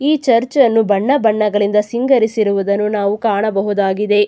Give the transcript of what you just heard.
ಈ ಚರ್ಚ್ ನ್ನು ಬಣ್ಣ ಬಣ್ಣಗಳಿಂದ ಸಿಂಗರಿಸಿರುವುದನ್ನು ನಾವು ಕಾಣಬಹುದಾಗಿದೆ.